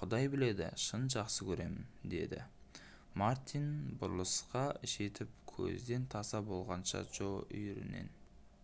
құдай біледі шын жақсы көремін дедімартин бұрылысқа жетіп көзден таса болғанша джо үйірінен